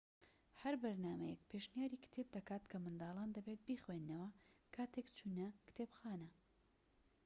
هەر بەرنامەیەک پێشنیاری کتێب دەکات کە منداڵان دەبێت بیخوێننەوە کاتێك چوونە کتێبخانە